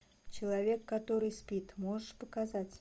человек который спит можешь показать